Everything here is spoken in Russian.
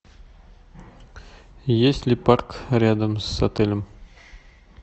есть ли парк рядом с отелем